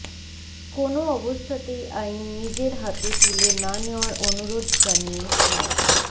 কোনো অবস্থাতেই আইন নিজের হাতে তুলে না নেওয়ার অনুরোধ জানিয়ে মো